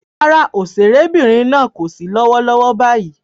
Rárá, òṣèrébìnrin náà kò sí lọ́wọ́lọ́wọ́ báyìí